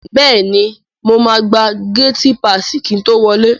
Bẹ́è ni, mo máa gba gátí paàsì kí n to wọlẹ́.